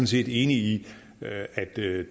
set enig i at det